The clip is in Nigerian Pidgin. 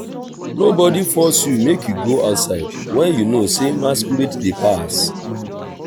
nobody force you make you go outside wen you know say masquerade dey pass